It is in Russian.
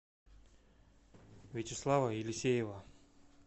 вячеслава елисеева